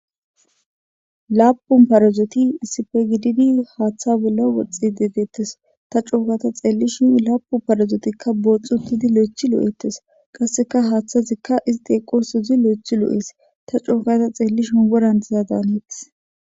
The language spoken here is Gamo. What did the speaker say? Lapun parazoti issipe gididi haatha bollan woxishe de'etes ta co gada xeelishin lapun parazorika booxi uttidi loythi lo'etes qaseka hathezika isti eqosozi loythi lo'es ta co gada xeelishin woran diza daanetes